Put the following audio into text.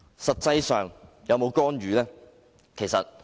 實際上，他們有否干預？